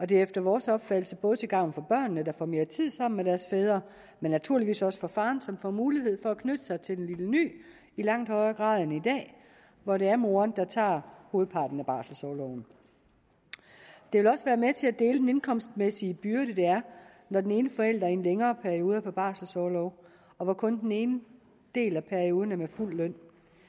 det er efter vores opfattelse både til gavn for børnene der får mere tid sammen med deres fædre og naturligvis også for faren som får mulighed for at knytte sig til den lille ny i langt højere grad end i dag hvor det er moren der tager hovedparten af barselsorloven det vil også være med til at dele den indkomstmæssige byrde det er når den ene forælder i en længere periode er på barselsorlov og hvor kun den ene del af perioden er med fuld løn